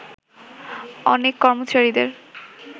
অনেকে কর্মচারীদের